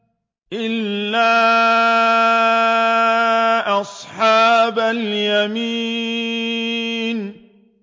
إِلَّا أَصْحَابَ الْيَمِينِ